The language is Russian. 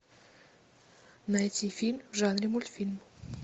найти фильм в жанре мультфильм